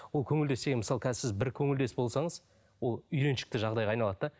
ол көңілдес дегеніміз мысалы қазір сіз бір көңілдес болсаңыз ол үйреншікті жағдайға айналады да